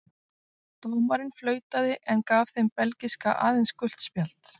Dómarinn flautaði en gaf þeim belgíska aðeins gult spjald.